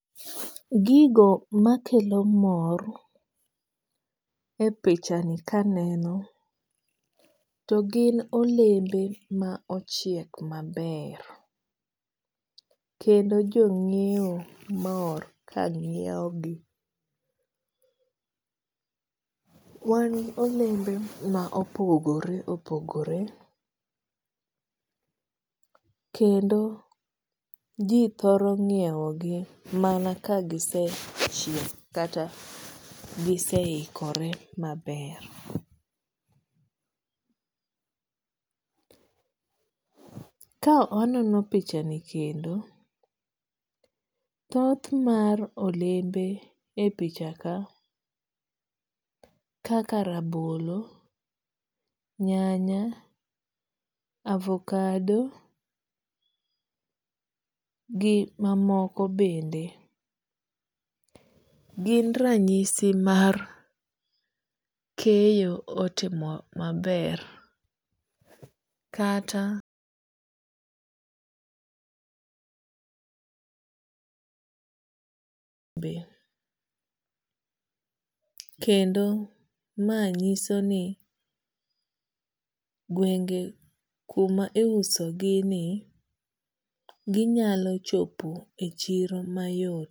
Gigo makelo mor e oichani kaneno to gin olembe ma ochiek maber. Kendo jo ng'iew mor ka ng'iew gi. Wan gi olembe ma opogore opogore. Kendo ji thoro ng'iew gi mana ka gisechiek kata gise ikore maber. Ka anono pichani kendo, thoth mar olembe e picha kaka rabolo, nyanya, avocado, gi mamoko bende gin ranyisi mar keyo otimo maber kata kendo ma nyiso ni gwenge kuma iuso gi ni ginyalo chopo e chiro mayot.